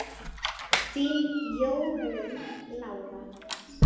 Þín Jórunn Lára.